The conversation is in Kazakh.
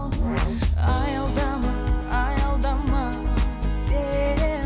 аялдама аялдама сен